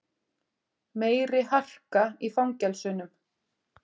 Meiri harka í fangelsunum